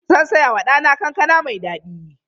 Zan saya wa ɗana kankana mai daɗi.